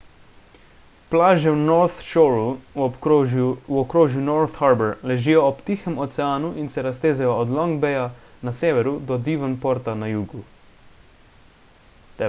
plaže v north shoreu v okrožju north harbour ležijo ob tihem oceanu in se raztezajo od long baya na severu do devonporta na jugu